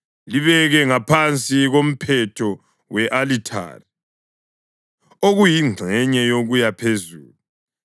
Libeke ngaphansi komphetho we-alithare okuyingxenye yokuya phezulu.